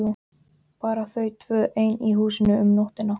Bara þau tvö ein í húsinu um nóttina!